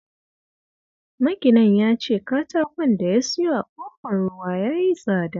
Maginan ya ce katakon da ya siyo a Ƙofar Ruwa ya yi tsada